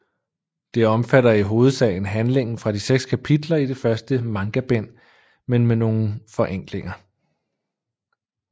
Det omfatter i hovedsagen handlingen fra de seks kapitler i det første mangabind men med nogle forenklinger